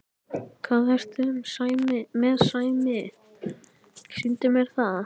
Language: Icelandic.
Hvað ertu með Sæmi, sýndu mér það!